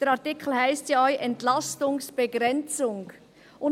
Der Artikel heisst ja auch «Entlastungsbegrenzung».